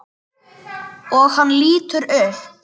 Og hann lítur upp.